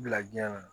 Bila diɲɛ kɔnɔ